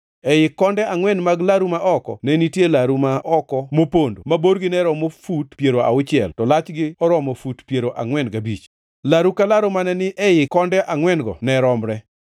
Ei konde angʼwen mag laru ma oko ne nitie laru ma oko mopondo, ma borgi noromo fut piero auchiel, to lachgi oromo fut piero angʼwen gabich. Laru ka laru mane ni e ii konde angʼwen-go ne romre.